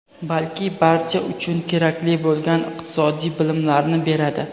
balki barcha uchun kerakli bo‘lgan iqtisodiy bilimlarni beradi.